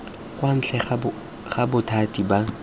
kwa ntle ga bothati ba